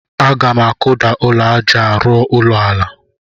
Aga m akụda ụlọ aja a rụọ ụlọ ala.